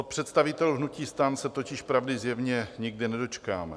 Od představitelů hnutí STAN se totiž pravdy zjevně nikdy nedočkáme.